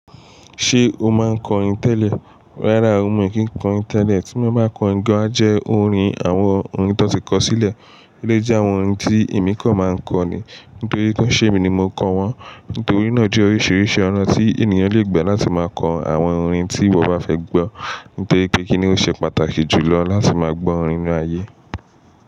Ṣé o máa ń kọ orin tẹ́lẹ̀? Rárá o mi o kìn kọ orin tẹ́lẹ̀, tí mo bá kọ orin gan a jẹ́ orin àwọn orin ti won ti kọ sílẹ̀, eléyii jẹ àwọn orin tí èmi kan máa ń kọ ni. Nítorí pé kí n ṣe emi ni mo kọ wọ́n. Nítorí náà jẹ oríṣiríṣi ọ̀nà tí ènìyàn le gbà láti máa kọ àwọn orin tí wọ́n bá fẹ́ gbọ́. Nítorí pé kí ni ó ṣe pàtàkì jù lọ láti máa gbọ́ orin ni ayé.